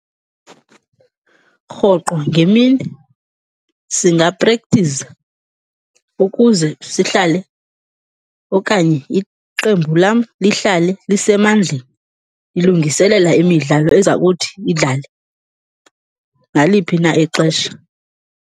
Rhoqo ngemini singaprekthiza ukuze sihlale okanye iqembu lam lihlale lisemandleni, lilungiselela imidlalo eza kuthi idlale naliphi na ixesha.